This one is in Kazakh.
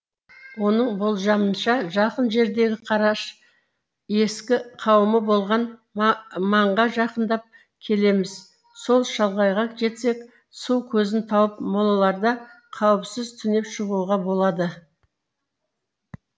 оның болжамынша жақын жердегі қараш ескі қауымы болған маңға жақындап келеміз сол шалғайға жетсек су көзін тауып молаларда қауіпсіз түнеп шығуға болады